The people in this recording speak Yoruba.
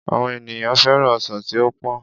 Àwọn ènìyàn féràn ọsàn tí ó pọ́n